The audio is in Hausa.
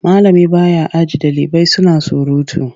Malami ba ya aji ɗalibai suna surutu.